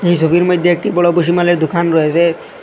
এই সবির মইধ্যে একটি বড় ভুসিমালের দোকান রয়েসে।